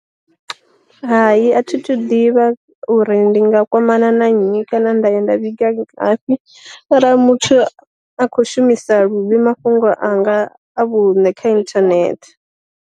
Hai a thi thu ḓivha uri ndi nga kwamana na nnyi kana nda ya nda vhiga ngafhi arali muthu a khou shumisa luvhi mafhungo anga a vhune kha inthanethe.